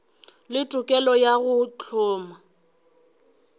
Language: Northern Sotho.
le tokelo ya go hloma